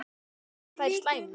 Líka þær slæmu.